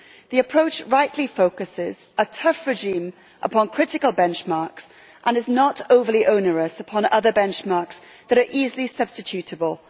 The approach rightly focuses a tough regime upon critical benchmarks and is not overly onerous upon other benchmarks that are easily substitutable.